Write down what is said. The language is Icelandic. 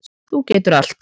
Þú getur allt.